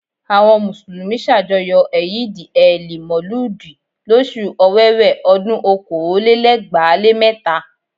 Àwọn mùsùlùmí ṣàjọyọ̀ ẹ̀yìdì-ẹẹli-Mọ̀lúùdì lóṣù Ọ̀wẹwẹ̀, ọdún okòólélẹgbàá lé mẹ́ta